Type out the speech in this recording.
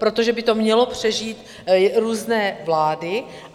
Protože by to mělo přežít různé vlády.